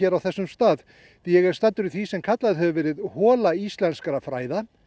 á þessum stað því ég er staddur í því sem kallað hefur verið íslenskra fræða